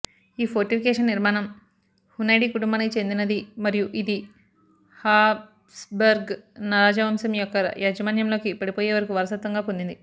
ఈ ఫోర్టిఫికేషన్ నిర్మాణం హునైడీ కుటుంబానికి చెందినది మరియు ఇది హాబ్స్బర్గ్ రాజవంశం యొక్క యాజమాన్యంలోకి పడిపోయేవరకు వారసత్వంగా పొందింది